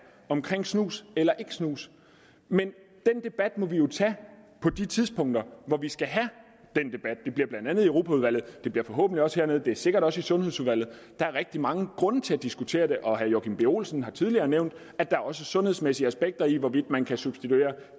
om snus eller ikke snus men den debat må vi jo tage på de tidspunkter hvor vi skal have den debat det bliver blandt andet i europaudvalget det bliver forhåbentlig også hernede det bliver sikkert også i sundhedsudvalget der er rigtig mange grunde til at diskutere det og herre joachim b olsen har tidligere nævnt at der også er sundhedsmæssige aspekter i hvorvidt man kan substituere